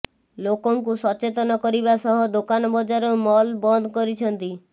ଲୋକଙ୍କୁ ସଚେତନ କରିବା ସହ ଦୋକାନ ବଜାର ମଲ ମନ୍ଦ କରିଛନ୍ତି